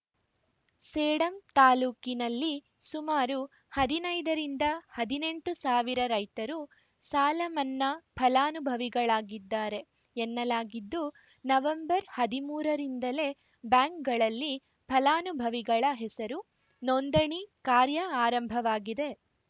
ಸೇಡಂ ತಾಲೂಕಿನಲ್ಲಿ ಸುಮಾರು ಹದಿನೈದು ರಿಂದ ಹದಿನೆಂಟು ಸಾವಿರ ರೈತರು ಸಾಲಮನ್ನಾ ಫಲಾನುಭವಿಗಳಿದ್ದಾರೆ ಎನ್ನಲಾಗಿದ್ದು ನವೆಂಬರ್ ಹದಿಮೂರ ರಿಂದಲೇ ಬ್ಯಾಂಕ್‌ಗಳಲ್ಲಿ ಫಲಾನುಭವಿಗಳ ಹೆಸರು ನೋಂದಣಿ ಕಾರ್ಯ ಆರಂಭವಾಗಿದೆ